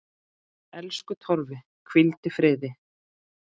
Elsku Torfi, hvíldu í friði.